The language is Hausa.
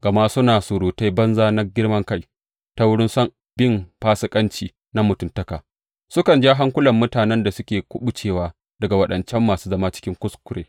Gama suna surutai banza na girman kai, ta wurin son bin fasikanci na mutuntaka, sukan jan hankulan mutanen da suke kuɓucewa daga waɗancan masu zama cikin kuskure.